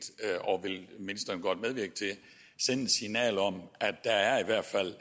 og vil ministeren godt medvirke til at sende et signal om at der i hvert fald